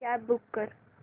cab book कर